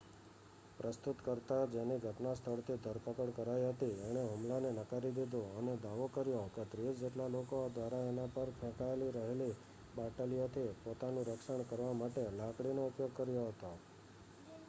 પ્રસ્તુતકર્તા જેની ઘટના સ્થળથી ધરપકડ કરાઈ હતી એણે હુમલાને નકારી દીધું અને દાવો કર્યો કે ત્રીસ જેટલા લોકો દ્વારા એના પર ફેંકાયી રહેલી બાટલીયોથી પોતાનું રક્ષણ કરવા માટે લાકડીનો ઉપયોગ કર્યો હતો